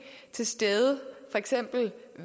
til stede for eksempel